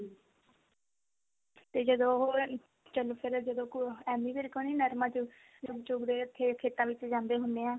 ਤੇ ਜਦੋਂ ਉਹ ਚਲ ਫੇਰ ਜਦੋਂ ਐਮੀ ਵਿਰਕ ਹੁਣੀ ਜਦੋਂ ਨਰਮਾ ਚੁੱਗ ਚੁਗਦੇ ਖੇਤਾਂ ਵਿੱਚ ਜਾਂਦੇ ਹੁਣੇ ਆ